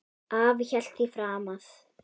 Afi hélt því fram að